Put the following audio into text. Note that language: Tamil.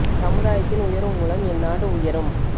சமுதாயத்தின் உயர்வு மூலம் என் நாடு உயரும்